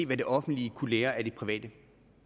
hvad det offentlige kunne lære af det private